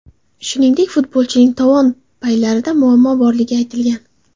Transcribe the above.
Shuningdek, futbolchining tovon paylarida muammo borligi aytilgan.